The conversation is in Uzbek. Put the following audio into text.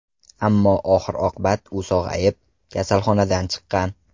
Ammo oxir-oqibat u sog‘ayib, kasalxonadan chiqqan.